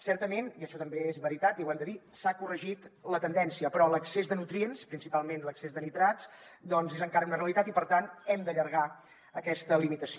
certament i això també és veritat i ho hem de dir s’ha corregit la tendència però l’excés de nutrients principalment l’excés de nitrats doncs és encara una realitat i per tant hem d’allargar aquesta limitació